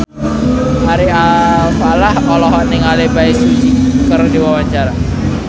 Ari Alfalah olohok ningali Bae Su Ji keur diwawancara